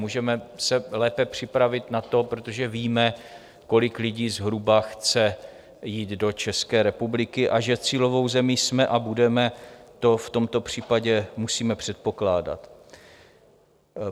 Můžeme se lépe připravit na to, protože víme, kolik lidí zhruba chce jít do České republiky, a že cílovou zemí jsme a budeme, to v tomto případě musíme předpokládat.